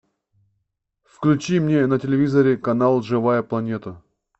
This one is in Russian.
включи мне на телевизоре канал живая планета